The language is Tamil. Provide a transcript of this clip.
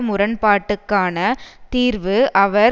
முரண்பாட்டுக்கான தீர்வு அவர்